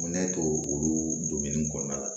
Ne to olu kɔnɔna la